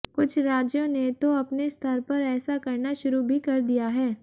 कुछ राज्यों ने तो अपने स्तर पर ऐसा करना शुरू भी कर दिया है